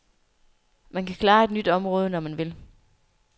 Man kan klare et nyt område, når man vil.